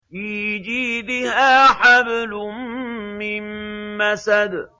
فِي جِيدِهَا حَبْلٌ مِّن مَّسَدٍ